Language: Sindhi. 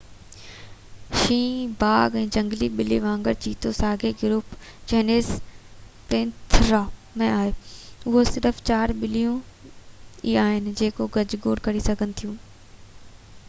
شينهن باگ، ۽ جهنگلي ٻلي وانگر چيتو ساڳئي گروپ جينس پينٿيرا ۾ آهي. اهي صرف چار ٻليون ئي آهن جيڪي گجگوڙ ڪري سگهن ٿيون